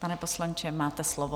Pane poslanče, máte slovo.